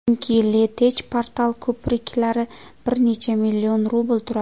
Chunki LeTech portal ko‘priklari bir necha million rubl turadi.